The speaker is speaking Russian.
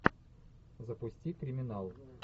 запусти криминал